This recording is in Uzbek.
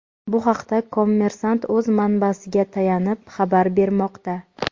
Bu haqda "Kommersant’" o‘z manbasiga tayanib xabar bermoqda.